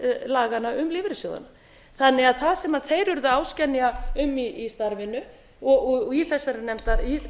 laganna um lífeyrissjóðina það sem þeir urðu áskynja um í starfinu og í þessari